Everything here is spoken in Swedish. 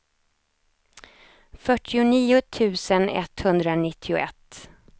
fyrtionio tusen etthundranittioett